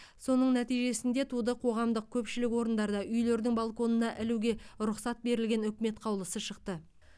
соның нәтижесінде туды қоғамдық көпшілік орындарда үйлердің балконына ілуге рұқсат берілген үкімет қаулысы шықты